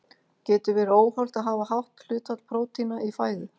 Getur verið óhollt að hafa hátt hlutfall prótína í fæðu?